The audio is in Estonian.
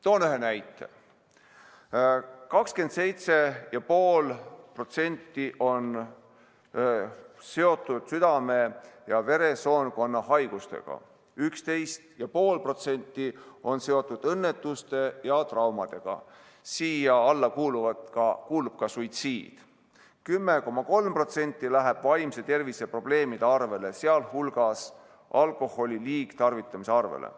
Toon ühe näite: 27,5% on seotud südame‑ ja veresoonkonnahaigustega, 11,5% on seotud õnnetuste ja traumadega , 10,3% läheb vaimse tervise probleemide arvele, sh alkoholi liigtarvitamise arvele.